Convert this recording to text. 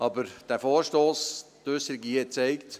Die Äusserung hier hat gezeigt: